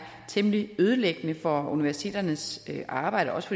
temmelig ødelæggende for universiteternes arbejde og også